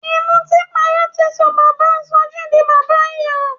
Ìmọtínpara ti sọ bàbáa Sọjí di bàbá ìyà.